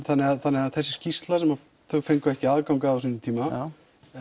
þannig að þannig að þessi skýrsla sem þau fengu ekki aðgang að á sínum tíma